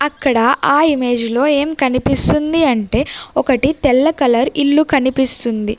అక్కడ ఆ ఇమేజ్లో ఏం కనిపిస్తుంది అంటే ఒకటి తెల్ల కలర్ ఇల్లు కనిపిస్తుంది.